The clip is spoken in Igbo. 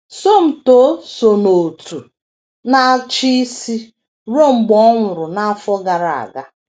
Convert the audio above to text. Somto so n’Òtù Na - achi Isi ruo mgbe ọ nwụrụ n’afọ gara aga.